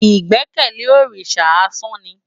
Igbèkèlé órisá ásàn ni